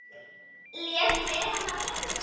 Lék við hana.